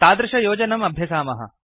तादृशयोजनम् अभ्यसामः